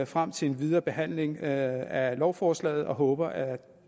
frem til en videre behandling af lovforslaget og håber at